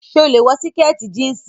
So lè wọ sìkẹ̀tì jíǹsì.